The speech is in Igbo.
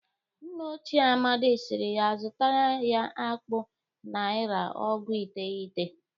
Nna ochie Amadị siri ya zụtara ya akpụ naịra ọgụ iteghete